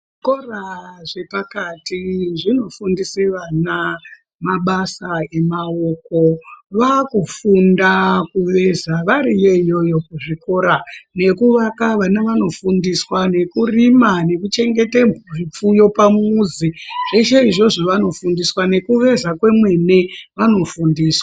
Zvikora zvepakati zvinofundise vana mabasa emaoko, kufundisa kuveza variyo iyoyo kuchikora nekuvaka vana vaafundiswa nekurima nekuchengete zvifuyo pamuzi zveshe izvozvo vanofundiswa. Nekuveza kwemene vanofundiswa.